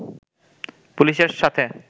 পুলিশের সাথে